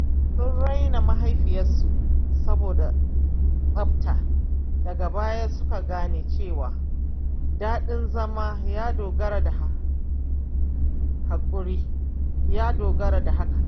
Sun raina mahaifiyarsu saboda tsafta, daga baya suka gane cewa daɗin zama ya dogara da hakan.